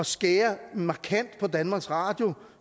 skære markant på danmarks radio